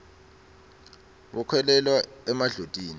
bakholelwa emadlotini